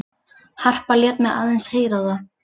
Harpa lét mig aðeins heyra það.